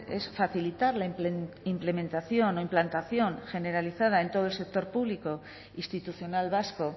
es facilitar la implementación o implantación generalizada en todo el sector público institucional vasco